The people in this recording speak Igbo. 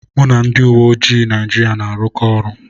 Mụ na ndị uwe ojii Naijiria na-arụkọ ọrụ.